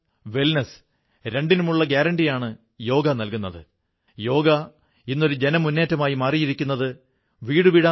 ഓരോ അനുഷ്ഠാനങ്ങളുടെയും തുടക്കത്തിൽ നദികളെ ആഹ്വാനം ചെയ്യുന്നു ഇതിൽ വടക്കേ അറ്റത്തുള്ള സിന്ധു നദി മുതൽ ദക്ഷിണ ഭാരതത്തിലെ ജീവൻദായിനിയായ കാവേരി നദി വരെ ഉൾപ്പെടുന്നു